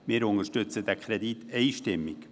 Wir unterstützen diesen Kredit einstimmig.